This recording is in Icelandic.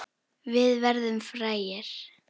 Við verðum frægir.